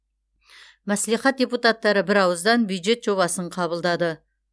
мәслихат депутаттары бірауыздан бюджет жобасын қабылдады